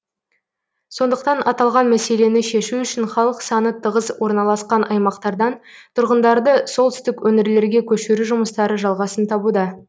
сондықтан аталған мәселені шешу үшін халық саны тығыз орналасқан аймақтардан тұрғындарды солтүстік өңірлерге көшіру жұмыстары жалғасын табуда